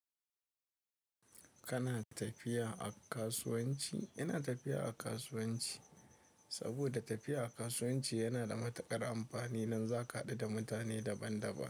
Kana tafiya a kasuwanci? Ina tafiya a kasuwanci saboda tafiya a kasuwanci yana da matuƙar amfani don za ka haɗu da mutane daban daban.